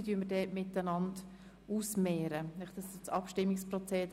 Wir werden beide Planungserklärungen gegenübergestellt zur Abstimmung bringen.